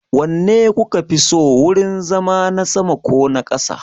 Wanne kuka fi so, wurin zama na sama ko na ƙasa?